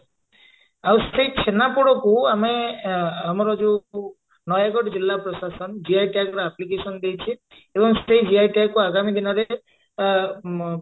ଆଉ ସେଇ ଛେନାପୋଡକୁ ଆମେ ଅ ଆମର ଯଉ ନୟାଗଡ ଜିଲ୍ଲା ପ୍ରଶାସନ GI tag ର application ଦେଇଛି ଏବଂ ସେ GI tag କୁ ଆଗାମୀ ଦିନରେ ଆ ମ